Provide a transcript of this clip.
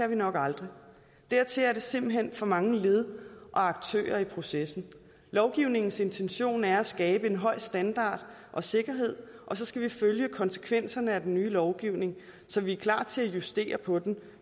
vi nok aldrig dertil er der simpelt hen for mange led og aktører i processen lovgivningens intention er at skabe en høj standard og sikkerhed og så skal vi følge konsekvenserne af den nye lovgivning så vi er klar til at justere på den